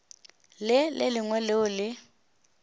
le le lengwe leo le